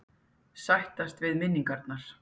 Sættast við minningarnar.